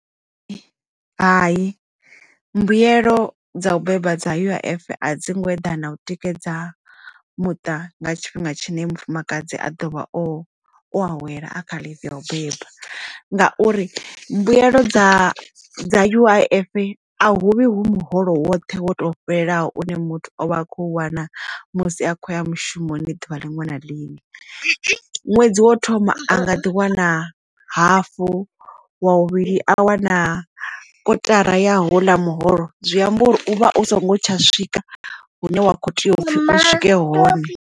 Hayi mbuyelo dza u beba dza U_I_F a dzi ngo eḓana u tikedza muṱa nga tshifhinga tshine mufumakadzi a ḓovha o u awela a kha leave ya u beba ngauri mbuyelo dza dza U_I_F a huvhi hu muholo woṱhe wo fhelelaho une muthu o vha a kho wana musi a khoya mushumoni ḓuvha liṅwe na liṅwe ṅwedzi wo thoma a nga ḓi wana wana hafu wa muvhili a wana kotara ya houḽa muholo zwi amba uri u vha u songo tsha swika hune wa kho tea uri u swike hone.